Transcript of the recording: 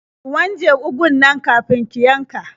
Ki wanje ugun nan kafin ki yanka.